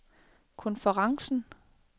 konferencen